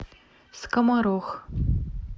скоморох